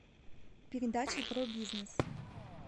передача про бизнес